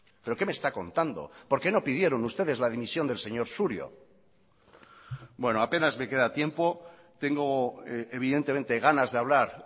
pero qué me está contando por qué no pidieron ustedes la dimisión del señor surio bueno apenas me queda tiempo tengo evidentemente ganas de hablar